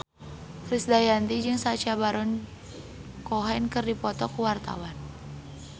Krisdayanti jeung Sacha Baron Cohen keur dipoto ku wartawan